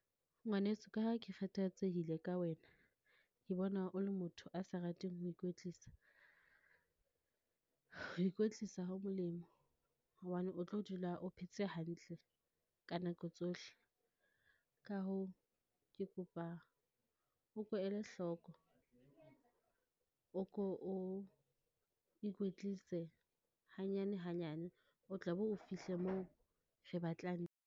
Ngwaneso ka ha ke kgathatsehile ka wena, ke bona o le motho a sa rateng ho ikwetlisa. Ho ikwetlisa ho molemo, hobane o tlo dula o phetse hantle ka nako tsohle. Ka hoo, ke kopa o ko ele hloko, o ko o ikwetlise hanyane hanyane, o tla be o fihle moo re batlang.